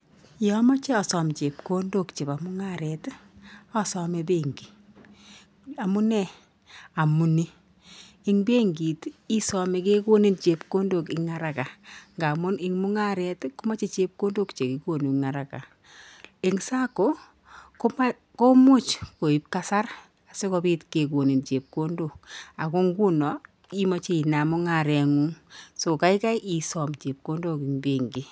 Yaamache asom chepkondok chebo mungaret asome banki amunee amunii eng bankit isome kekonik chepkondok ingaraka kaamun ing mungaret komache chepkondok chekikonun araka eng SACCO komuch koip kasar sikopit kekonin chepkondok ako nguno imache inam mungaret ngung so kaikai isom chepkondok eng bankit